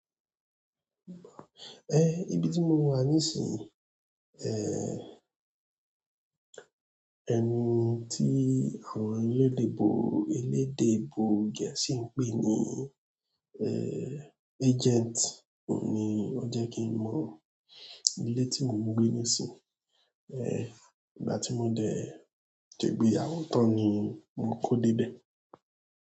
Eh, ibi tí mo wà nísìnyìì, ẹni tí àwọn elédè ebo, elédè ebo Gẹ̀ẹ́sì ń pè ní agent oun ni o jẹ́ kí n mọ̀. Ilé tí mo ń gbé nísìnyìí, ìgbà tí mo dẹ̀ segbéyàwó tán ni mo kó dé bẹ̀.